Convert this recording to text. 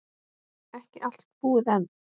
Ekki allt búið enn.